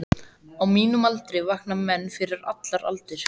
Á mínum aldri vakna menn fyrir allar aldir.